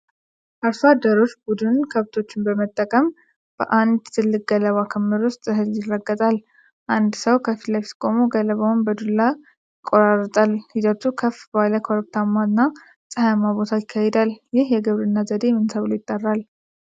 አርሶ አደሮች ቡድን ከብቶችን በመጠቀም በአንድ ትልቅ ገለባ ክምር ላይ እህል ይረግጣል። አንድ ሰው ከፊት ለፊት ቆሞ ገለባውን በዱላ ይቆጣጠራል። ሂደቱ ከፍ ባለ ኮረብታማና ፀሐያማ ቦታ ይካሄዳል። ይህ የግብርና ዘዴ ምን ተብሎ ይጠራል?